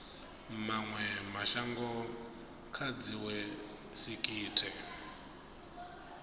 mawe mashango kha dziwe sekitha